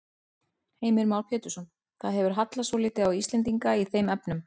Heimir Már Pétursson: Það hefur hallað svolítið á Íslendinga í þeim efnum?